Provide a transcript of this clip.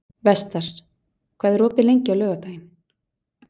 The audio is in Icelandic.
Vestar, hvað er opið lengi á laugardaginn?